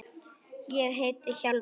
Ég heiti Hjálmar